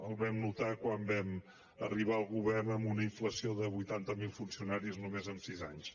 el vam notar quan vam arribar al govern amb una inflació de vuitanta mil funcionaris només en sis anys